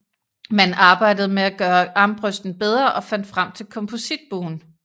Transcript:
Man arbejdede med at gøre armbrøsten bedre og fandt frem til kompositbuen